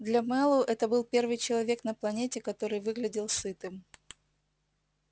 для мэллоу это был первый человек на планете который выглядел сытым